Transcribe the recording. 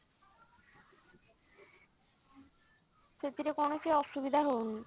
ସେଥିରେ କୌଣସି ଅସୁବିଧା ହଉନି